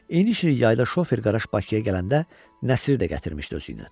İniş il yayda şofer Qaraş Bakıya gələndə Nəsiri də gətirmişdi özü ilə.